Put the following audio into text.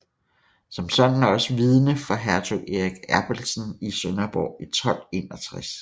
Som sådan også vidne for hertug Erik Abelsen i Sønderborg i 1261